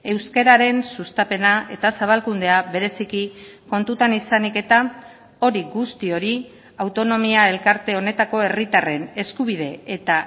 euskararen sustapena eta zabalkundea bereziki kontutan izanik eta hori guzti hori autonomia elkarte honetako herritarren eskubide eta